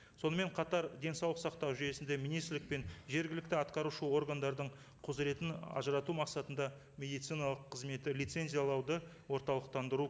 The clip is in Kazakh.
сонымен қатар денсаулық сақтау жүйесінде министрлік пен жергілікті атқарушы органдардың құзыретін ажырату мақсатында медициналық қызметті лицензиялауды орталықтандыру